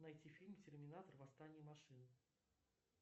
найти фильм терминатор восстание машин